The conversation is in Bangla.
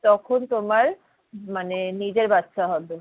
তখন তোমার মানে নিজের বাচ্চা হবে।